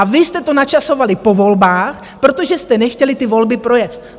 A vy jste to načasovali po volbách, protože jste nechtěli ty volby projet.